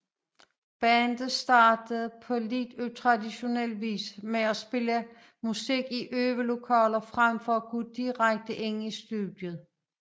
Bandet startede på lidt utraditionel vis med at spille musik i øvelokaler frem for at gå direkte ind i studiet